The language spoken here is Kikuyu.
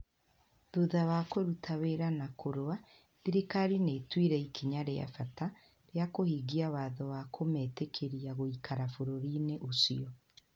Thutha wa kũruta wĩra na kũrũa, thirikari nĩ ĩtuire ikinya rĩa bata rĩa kũhingia watho wa kũmetĩkĩria gũikara bũrũri-inĩ ũcio.